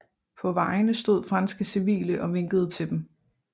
På vejene stod franske civile og vinkede til dem